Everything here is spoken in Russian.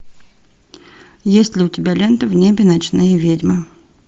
есть ли у тебя лента в небе ночные ведьмы